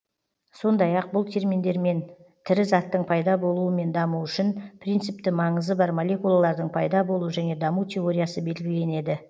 сондай ақ бұл терминдермен тірі заттың пайда болуы мен дамуы үшін принципті маңызы бар молекулалардың пайда болу және даму теориясы белгіленеді